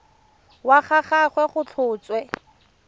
wa ga gagwe go tlhotswe